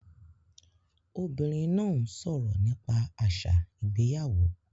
Obìnrin náà ń sọ̀rọ̀ nípa àṣà ìgbéyàwó